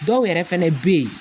Dɔw yɛrɛ fɛnɛ bɛ ye